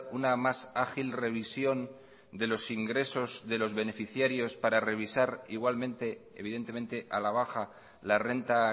una más ágil revisión de los ingresos de los beneficiarios para revisar igualmente evidentemente a la baja la renta